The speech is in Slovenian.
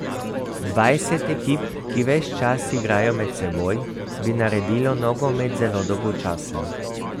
Dvajset ekip, ki ves čas igrajo med seboj, bi naredilo nogomet zelo dolgočasen.